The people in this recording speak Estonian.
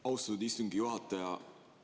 Austatud istungi juhataja!